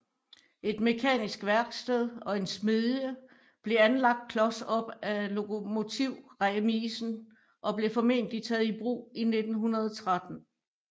Et mekanisk værksted og en smedie blev anlagt klos op af lokomotivremisen og blev formentlig taget i brug i 1913